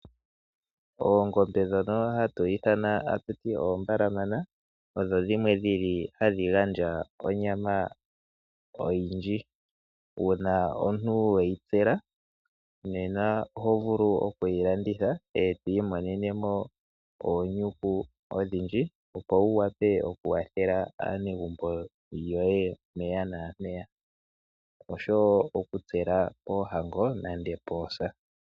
Oongombe ndhono hatu ithana tatu ti odho oombalamana odho dhimwe dhili hadhi gandja onyama oyindji. Uuna omuntu we yi tsela, nena oho vulu oku yi landitha e to imonene mo oonyuku odhindji, opo wu wape oku kwathela aanegumbo lyoye mpeya naampeya, oshowo oku tsela poohango nande poosa.